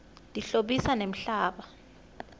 tihlobisa nemhlaba